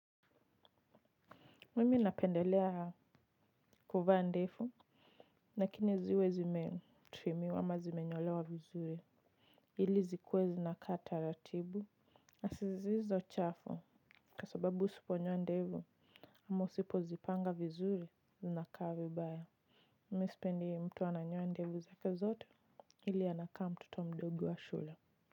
Mimi napendelea kuvaa ndefu lakini ziwe zime trimiwa ama zimenyolewa vizuri ili zikuwe zinakaa taratibu na sizizo chafu kwasababu usiponyoa ndefu ama usipo zipanga vizuri zinakaa vi baya mimi sipendi mtu ananyoa ndevu zake zote ili anakaa mtoto mdogo wa shule.